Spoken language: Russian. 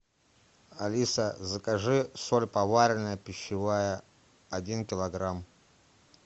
алиса закажи соль поваренная пищевая один килограмм